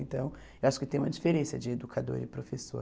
Então, eu acho que tem uma diferença de educador e professor.